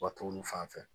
Ka t'olu fan fɛ